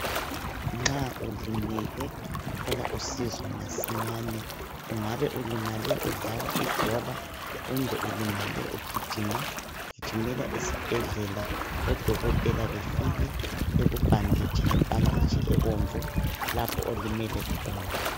Nxa ulimele thola usizo masinyane. Ungabe ulimale udlala ibhola kumbe ulimale ugijima .Gijimela esibhedlela odokotela befike bekubhanditshe ngebhanditshi ebomvu lapho olimele khona